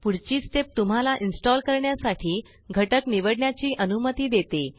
पुढची स्टेप तुम्हला इन्स्टॉल करण्यासाठी घटक निवडण्याची अनुमती देते